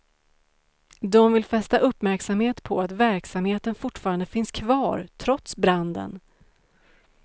De vill fästa uppmärksamhet på att verksamheten fortfarande finns kvar, trots branden.